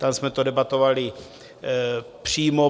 Tam jsme to debatovali přímo.